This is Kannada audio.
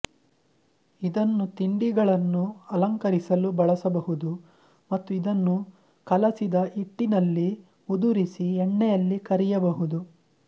ಇದನ್ನು ತಿಂಡಿಗಳನ್ನು ಅಲಂಕರಿಸಲು ಬಳಸಬಹುದು ಮತ್ತು ಇದನ್ನು ಕಲಸಿದ ಹಿಟ್ಟಿನಲ್ಲಿ ಉದುರಿಸಿ ಎಣ್ಣೆಯಲ್ಲಿ ಕರಿಯಬಹುದು